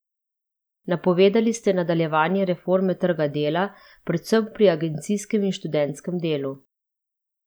Napovedali ste nadaljevanje reforme trga dela, predvsem pri agencijskem in študentskem delu.